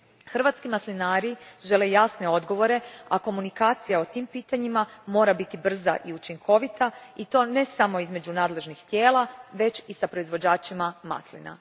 Hrvatski maslinari žele jasne odgovore, a komunikacija o tim pitanjima mora biti brza i učinkovita, i to ne samo između nadležnih tijela već i s proizvođačima maslina.